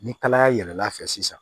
Ni kalaya yɛlɛla fɛ sisan